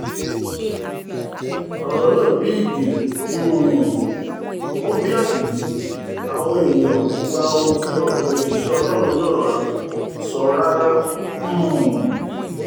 ọ̀rọ̀ náà bí igẹ̀ um ò bí àdùbí àwọn èèyàn kò gba ohun tí ọkùnrin òjíṣẹ́ ọlọ́run náà sọ rárá um